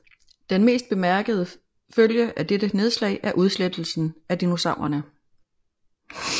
Den mest bemærkede følge af dette nedslag er udslettelsen af dinosaurerne